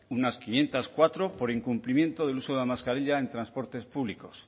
unas quinientos cuatro por incumplimiento del uso de la mascarilla en transportes públicos